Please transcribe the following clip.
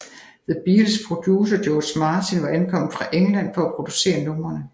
The Beatles producer George Martin var ankommet fra England for at producere numrene